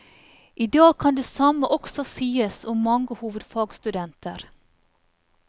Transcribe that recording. I dag kan det samme også sies om mange hovedfagsstudenter.